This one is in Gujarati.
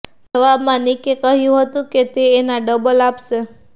જવાબામાં નિકે કહ્યું હતુ કે તે એના ડબલ આપશે